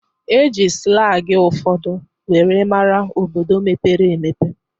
E ji slangi ụfọdụ were mara obodo mepere emepe